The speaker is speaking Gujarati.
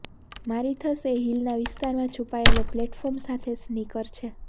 મારિથસ એ હીલના વિસ્તારમાં છુપાયેલા પ્લેટફોર્મ સાથે સ્નીકર છે